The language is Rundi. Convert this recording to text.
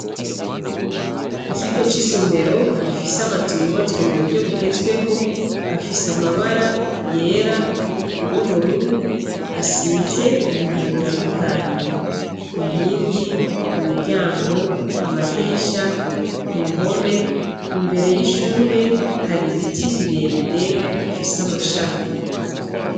Ikigo c'isomero gifise amazu yubatswe m'uburyo bugezweho afise amabara yera, y'ubururu asize ibintu bitandukanye, inkingi, imiryango n'amadirisha. k'uruhome imbere y'ishure har'ibiti birebire bifise amashami.